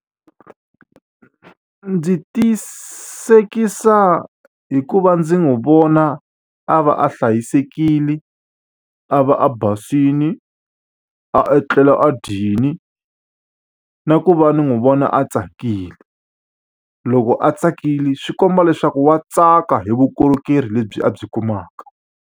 Ndzi tiyisekisa hikuva ndzi n'wi vona a va a hlayisekile, a va a basile, a etlela a dyile, na ku va ndzi n'wi vona a tsakile. Loko a tsakile swi komba leswaku wa tsaka hi vukorhokeri lebyi a byi kumaka.